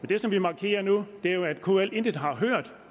det som vi markerer nu er jo at kl intet har hørt